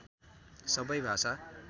सबै भाषा